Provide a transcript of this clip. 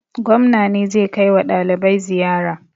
Gwamna ne zai kai wa ɗalibai ziyara.